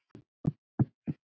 Úlfar bróðir.